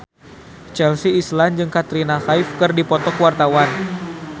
Chelsea Islan jeung Katrina Kaif keur dipoto ku wartawan